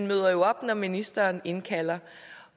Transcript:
møder jo op når ministeren indkalder